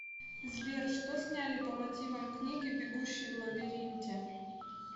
сбер что сняли по мотивам книги бегущии в лабиринте